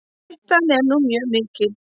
Hættan er nú mjög mikil.